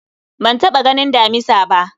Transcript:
Ban taɓa ganin damisa ba